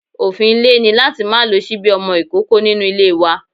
Òfin ilé ni láti má lo ṣíbí ọmọ ìkókó nínú ilé wa.